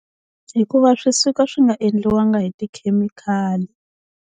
Hikuva swi suka swi nga endliwangi hi tikhemikhali.